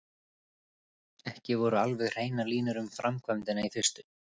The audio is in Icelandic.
Ekki voru alveg hreinar línur um framkvæmdina í fyrstu.